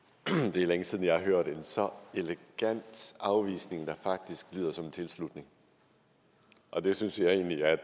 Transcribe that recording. det er længe siden jeg har hørt en så elegant afvisning der faktisk lyder som en tilslutning og det synes jeg egentlig jeg